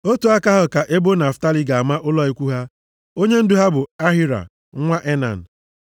Otu aka ahụ ka ebo Naftalị ga-ama ụlọ ikwu ha. Onyendu ha bụ Ahira nwa Enan.